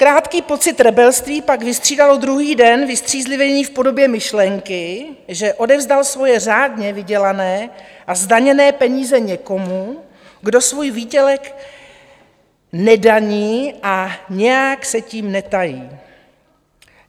Krátký pocit rebelství pak vystřídalo druhý den vystřízlivění v podobě myšlenky, že odevzdal svoje řádně vydělané a zdaněné peníze někomu, kdo svůj výdělek nedaní a nijak se tím netají.